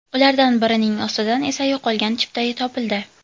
Ulardan birining ostidan esa yo‘qolgan chipta topildi.